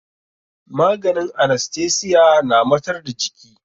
Maganin anastesiya na matar da jiki.